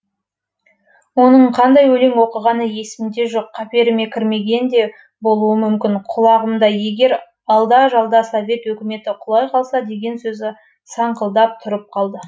оның қандай өлең оқығаны есімде жоқ қаперіме кірмеген де болуы мүмкін құлағымда егер алда жалда совет өкіметі құлай қалса деген сөзі саңқылдап тұрып қалды